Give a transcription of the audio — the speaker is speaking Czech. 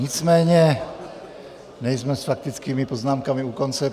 Nicméně nejsme s faktickými poznámkami u konce.